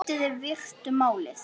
Lítið er vitað um málið.